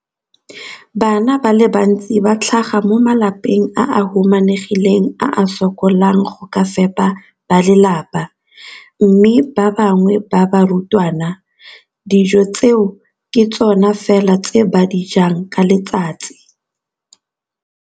Bana ba le bantsi ba tlhaga mo malapeng a a humanegileng a a sokolang go ka fepa ba lelapa mme ba bangwe ba barutwana, dijo tseo ke tsona fela tse ba di jang ka letsatsi.